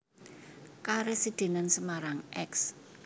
Karesidenan Semarang Eks